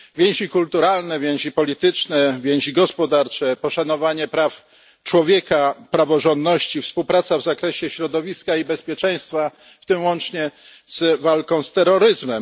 Więzi kulturalne, więzi polityczne, więzi gospodarcze, poszanowanie praw człowieka i praworządności, współpraca w zakresie środowiska i bezpieczeństwa, w tym walka z terroryzmem.